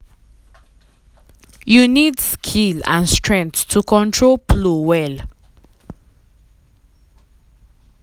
you need skill and strength to control plow well.